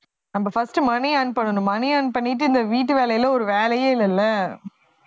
நம்ம first money earn பண்ணணும் money earn பண்ணிட்டு இந்த வீட்டு வேலையில ஒரு வேலையே இல்லைல்ல